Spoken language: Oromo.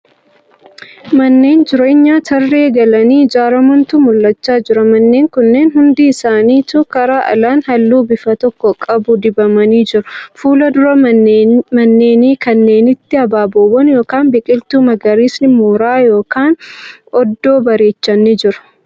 Manneen jireenyaa tarree galanii ijaaramaantu mul'achaa jira. Manneen kunneen hundi isaanituu kara alaan halluu bifa tokko qabu dibamanii jiru. Fuuldura manneenii kanneenitti abaaboowwan yookan biqiltuu magariisni mooraa yookan oddoo bareechan ni jiru.